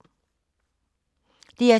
DR2